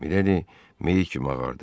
Miledi meyit kimi ağardı.